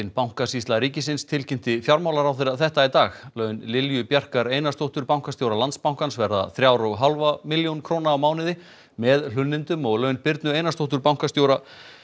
bankasýsla ríkisins tilkynnti fjármálaráðherra þetta í dag laun Lilju Bjarkar Einarsdóttur bankastjóra Landsbankans verða þrjár og hálf milljón króna á mánuði með hlunnindum og laun Birnu Einarsdóttur bankastjóra